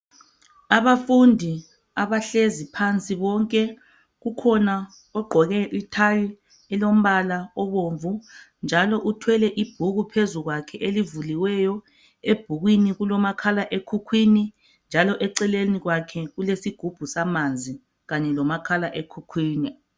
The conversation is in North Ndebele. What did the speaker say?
Abafundi abahlezi phansi bonke kukhona ogqoke ithayi elombala obomvu njalo uthwele ibhuku phezulu kwakhe elivuliweyo. Ebhukwini kulomakhala ekhukhwini njalo eceleni kwakhe kulesigubhu samanzi kanye lomakhala ekhukhwini.